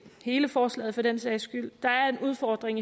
hele forslaget for den sags skyld der er en udfordring